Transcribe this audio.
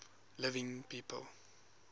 living people